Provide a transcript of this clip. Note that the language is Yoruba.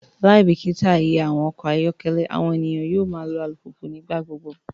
Laibikita iye awọn ọkọ ayọkẹlẹ, awọn eniyan yoo ma lo alupupu nigbagbogbo